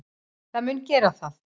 Það mun gera það.